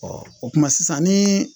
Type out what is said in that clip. o kuma sisan ni